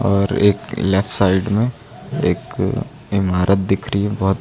और एक left side में एक इमारत दिख रही है बहुत--